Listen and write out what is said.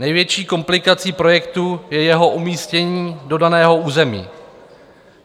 Největší komplikací projektu je jeho umístění do daného území.